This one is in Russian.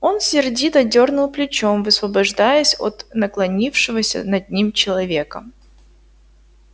он сердито дёрнул плечом высвобождаясь от наклонившегося над ним человека